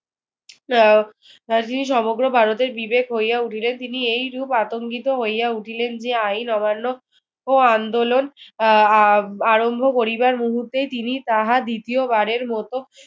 আহ যিনি সমগ্র ভারতের বিবেক হইয়া উঠিলেন তিনি এইরূপ আতঙ্কিত হইয়া উঠিলেন যে আইন অমান্য ও আন্দোলন আহ আ আরম্ভ করিবার মুহূর্তেই তিনি তাহা দ্বিতীবারের মতো